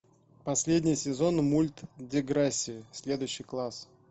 последний сезон мульт деграсси следующий класс